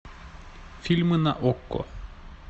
фильмы на окко